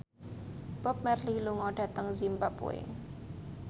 Bob Marley lunga dhateng zimbabwe